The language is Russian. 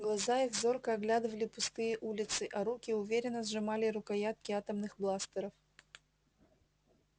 глаза их зорко оглядывали пустые улицы а руки уверенно сжимали рукоятки атомных бластеров